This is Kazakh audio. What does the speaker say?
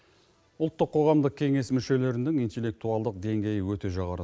ұлттық қоғамдық кеңес мүшелерінің интеллектуалдық деңгейі өте жоғары